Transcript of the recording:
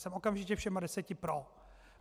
Jsem okamžitě všemi deseti pro.